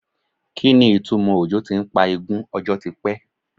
Kí ni ìtumò òjò ti ń pa igún ọjọ́ ti pẹ́?